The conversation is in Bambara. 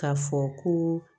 K'a fɔ ko